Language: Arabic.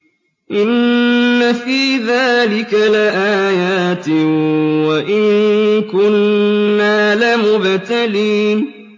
إِنَّ فِي ذَٰلِكَ لَآيَاتٍ وَإِن كُنَّا لَمُبْتَلِينَ